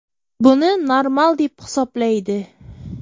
buni normal deb hisoblaydi.